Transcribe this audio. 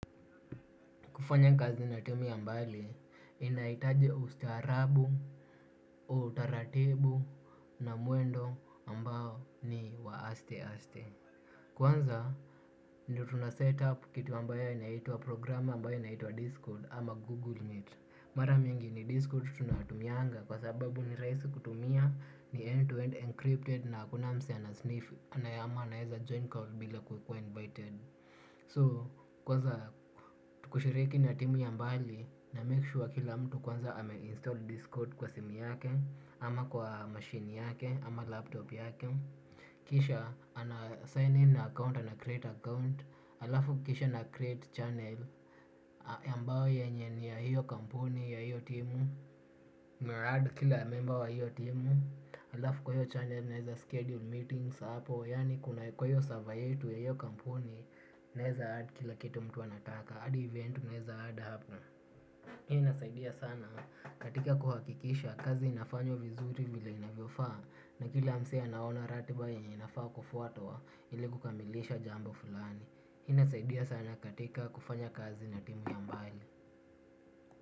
Kufanya kazi na timu ya mbali, inahitaji ustaarabu, utaratibu na mwendo ambao ni wa aste-aste. Kwanza, ndio tunasetup kitu ambayo inaitwa program ambayo inaitwa Discord ama Google Meet. Mara mingi ni Discord tunatumianga kwa sababu nirahisi kutumia ni end-to-end encrypted na hakuna mse anasniff, anaye ama anaeza join call bila kukua invited. So kwanza kushiriki na timu ya ambali na make sure kila mtu kwanza ame install discord kwa simu yake. Ama kwa machine yake ama laptop yake. Kisha anasign in account ana create account. Alafu kisha na create channel ambayo yenye ni ya hiyo kampuni ya hiyo timu Merad kila member wa hiyo timu. Alafu kwa hiyo channel naeza schedule meetings hapo. Yani kuna kwa hiyo server yetu ya hiyo kampuni. Naeza add kila kitu mtu anataka hadi event unaeza add hapo. Hii inasaidia sana katika kuhakikisha kazi inafanywa vizuri vile inavyofaa. Na kila mse anaona ratiba yemye inafaa kufuatwa ili kukamilisha jambo fulani. Hii inasaidia sana katika kufanya kazi na timu ya mbali.